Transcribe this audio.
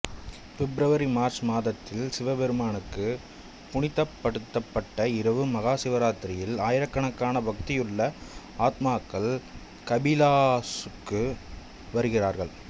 பிப்ரவரிமார்ச் மாதத்தில் சிவபெருமானுக்கு புனிதப்படுத்தப்பட்ட இரவு மகாசிவராத்திரியில் ஆயிரக்கணக்கான பக்தியுள்ள ஆத்மாக்கள் கபிலாஸுக்கு வருகிறார்கள்